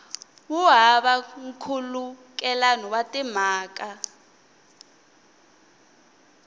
wu hava nkhulukelano wa timhaka